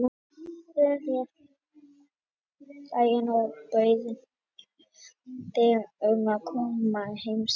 Við skrifuðum þér um daginn og báðum þig um að koma í heimsókn til okkar.